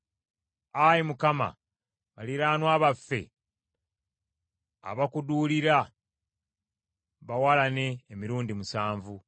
Ayi Mukama, baliraanwa baffe abakuduulira, bawalane emirundi musanvu.